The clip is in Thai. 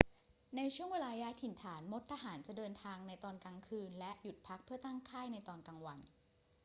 ในช่วงเวลาย้ายถิ่นฐาน มดทหารจะเดินทางในตอนกลางคืนและหยุดพักเพื่อตั้งค่ายในตอนกลางวัน